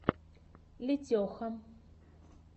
летеха